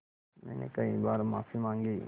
मैंने कई बार माफ़ी माँगी